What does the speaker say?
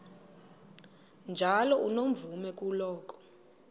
njalo unomvume kuloko